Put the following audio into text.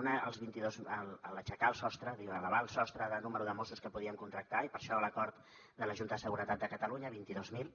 un aixecar el sostre elevar el sostre del número de mossos que podíem contractar i per això l’acord de la junta de seguretat de catalunya vint dos mil